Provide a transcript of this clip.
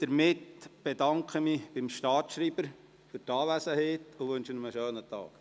Damit bedanke ich mich beim Staatsschreiber für die Anwesenheit und wünsche ihm einen schönen Tag.